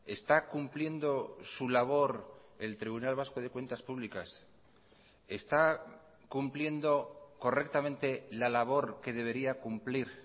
está cumpliendo su labor el tribunal vasco de cuentas públicas está cumpliendo correctamente la labor que debería cumplir